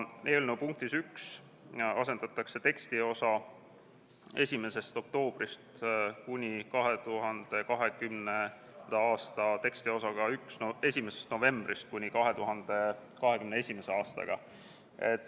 Eelnõu punktis 1 asendatakse tekstiosa "1. oktoobrist kuni 2020." tekstiosaga "1. novembrist kuni 2021.".